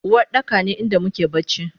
Uwardaka ne inda muke bacci